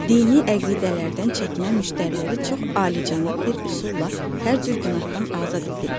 dini əqidələrdən çəkinən müştəriləri çox alicənab bir üsulla hər cür günahdan azad edirik.